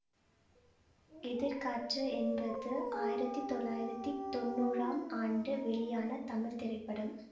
எதிர்காற்று என்பது ஆயிரத்தி தொள்ளாயிரத்தி தொன்னூறாம் ஆண்டு வெளியான தமிழ் திரைப்படம்